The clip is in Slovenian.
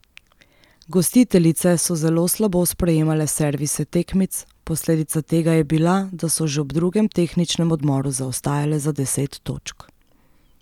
Gostiteljice so zelo slabo sprejemale servise tekmic, posledica tega je bila, da so že ob drugem tehničnem odmoru zaostajale za deset točk.